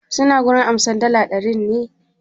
Suna wurin amsar dala ɗarin ne?